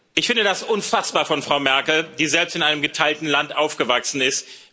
Ich finde das unfassbar von Frau Merkel, die selbst in einem geteilten Land aufgewachsen ist.